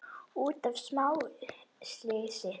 út af smá slysi!